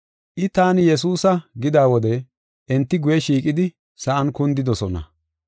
I, “Taani Yesuusa” gida wode enti guye shiiqidi, sa7an kundidosona.